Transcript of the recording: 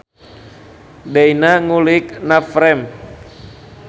Deyna ngulik navframe